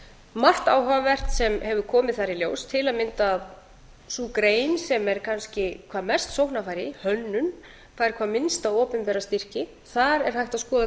margt áhugavert sem hefur komið þar í ljós til að mynda að sú grein sem er kannski hvað mest sóknarfæri í hönnun fær hvað minnsta opinbera styrki þar er hægt að skoða